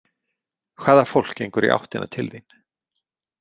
Hvaða fólk gengur í áttina til þín?